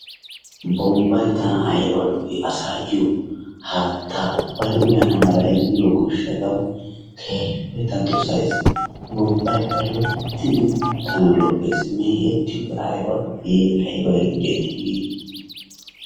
Bombbay tana ayba lo'ii asaayo haattaa ubbay uyana mala immiyo gishaatawu keehippe ta dosays. Bombbaykka loyttidi tana lo'eesinne mee'etiyode ayba lo'ii ayba injjetti?